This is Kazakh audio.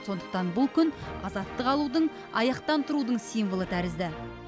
сондықтан бұл күн азаттық алудың аяқтан тұрудың символы тәрізді